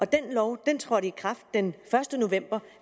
den lov trådte i kraft den første november